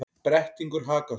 Brettingur Hakason,